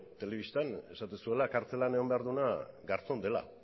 telebistan esaten zuela kartzelan egon behar duena garzón dela